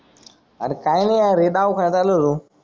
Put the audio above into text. अरे काही नाही अरे दवाखान्यात आलो होतो.